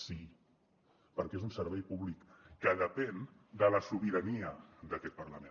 sí perquè és un servei públic que depèn de la sobirania d’aquest parlament